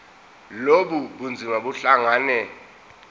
lobu bunzima buhlangane